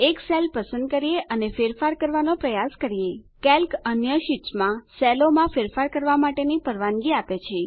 એક સેલ પસંદ કરીએ અને ફેરફાર કરવાનો પ્રયાસ કરીએ કેલ્ક અન્ય શીટ્સ માં સેલોમાં ફેરફાર કરવા માટેની પરવાનગી આપે છે